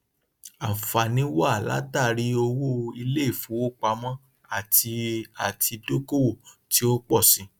ànfààní wá látàrí owó iléìfowópamọ àti àti dókòwò tí ó pọ síi